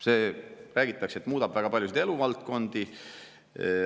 See, räägitakse, muudab väga paljusid eluvaldkondi.